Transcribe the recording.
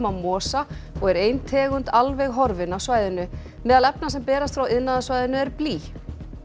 á mosa og er ein tegund alveg horfin af svæðinu meðal efna sem berast frá iðnaðarsvæðinu er blý